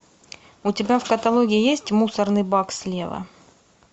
у тебя в каталоге есть мусорный бак слева